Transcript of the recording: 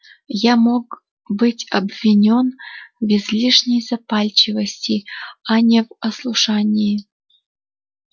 я мог быть обвинён в излишней запальчивости а не в ослушании